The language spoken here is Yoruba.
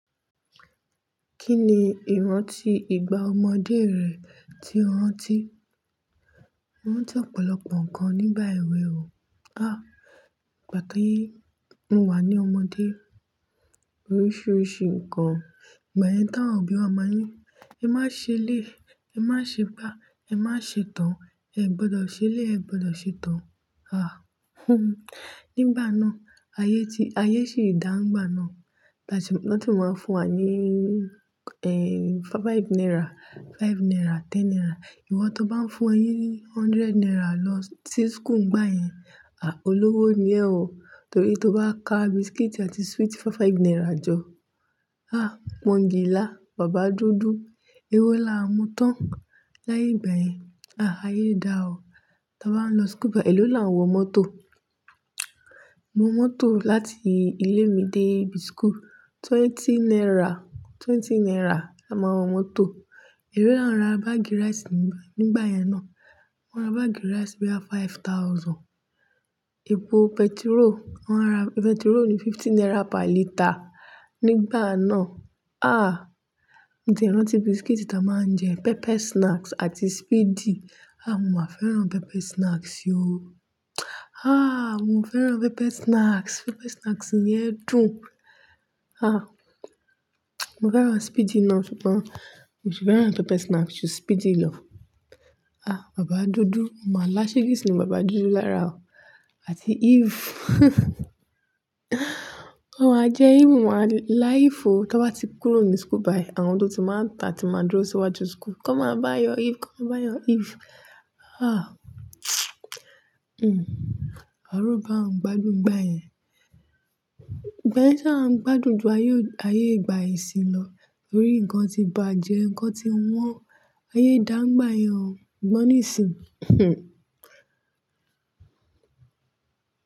Kí ni ìrántí ìgbà ọmọdé rẹ tí o rántí? Mo rántí ọ̀pọ̀lọpọ̀ nǹkan nígbà èwe o. Há, ìgbà ti mo wà ní ọmọdé. Oríṣiríṣi nǹkan ìgbà yẹn ti àwọn òbí wa má ni. "Ẹ má ṣe eléyi, ẹ má ṣe igbá, ẹ má ṣe toun, ẹ o gbọdọ̀ ṣe eléyi, ẹ o gbọdọ̀ ṣe toun." Há. Nígbà náà, ayé ti-- ayé sì dá ńigbà náà. Wọ́n ti máa ń fún wa ní, ẹ, five naira, five naira, ten naira. Ìwọ tóun bá ń fún o ni hundred naira lọ sí school nígbà yẹn, à, olówó ni ẹ o. Torí tó bá ka biscuit àti sweet five five naira jọ. Há, pọ́ńgìlà, bàbá dúdú. Ewo la o mú tán láyé ìgbà yẹn. À, ayé dà o. Tí a bá nlọ school, èló la ń wọ mọ́tò? Mo wọ mọ́tò láti ilé mi dé school. Twenty naira, twenty naira la ma n wọ mọ́tò. Èló la ń ra bagi rice nígbà yen náà? Won n ra bagi rice boya five thousand. Epo petrol, wọ́n n ra-- petrol ni fifty naira per litre nígbà náà. À, mo ti e rántí biscuit tí a máa ń jẹ. Pepper snacks àti Speedy. À, mo ma fẹ́ran pepper snacks o. À, mo fẹ́ran pepper snacks. Pepper snacks yẹn dùn. À, mo fẹ́ran Speedy náà ṣùgbọ́n, mo sì fẹ́ran pepper snacks ju Speedy lọ. À, bàbá dúdú. Mo má la ṣẹge sí bàbá dúdú lára o. Àti eve. Mo má jẹ eve mo má lá eve o. Tí a bá ti kúrò ní school báyìí, àwọn tó ti má ń ta tí má dúró síwájú school. "Come and buy your eve. Come and buy your eve." Àwa ro pe a ń gbádùn nígbà yẹn. Ìgbà yẹn a sa n gbádùn jù, ayé ò-- ayé ìgbà ìsìnyi lọ. To rí nǹkan tí bàjẹ́, nǹkan tí wọ́n. Ayé dà nígbà yẹn o. Ṣùgbọ́n nísínyi.